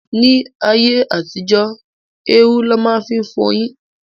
Ní ayé àtijó, érú lọ máa ń fi fọyín.